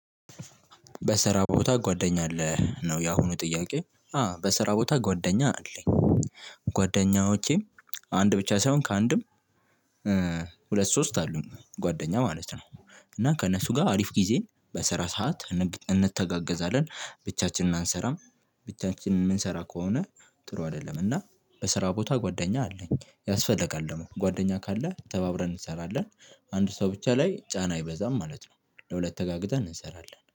በስራ ቦታ ጓደኛ አለህ ነው የአሁኑ ጥያቄ አዎ በስራ ቦታ ጓደኛ አለኝ። ጓደኞቼ አንድ ብቻ ሳይሆን ከአንድም ሁለት ሶስት አሉኝ። ጓደኛ ማለት ነው እና ከእነሱ ጋር አሪፍ ጊዜ በስራ ሰዓት እን እንተጋገዛለን ብቻችንን አንሰራም። ብቻችንን የምንሰራ ከሆነ ጥሩ አይደለም። እና በስራ ቦታ ጓደኛ አለኝ ያስፈልጋል ደግሞ ጓደኛ ካለ ተባብረን እንሰራለን። አንድ ሰው ብቻ ላይ ጫና አይበዛም ማለት ነው። ለሁለት ተጋግዘን እንሰራለን